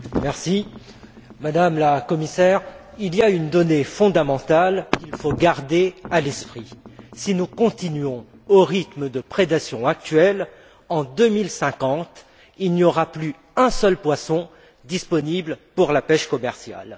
Monsieur le Président, Madame la Commissaire, il est une donnée fondamentale que nous devons garder présente à l'esprit. Si nous continuons au rythme de prédation actuel, en 2050 il n'y aura plus un seul poisson disponible pour la pêche commerciale.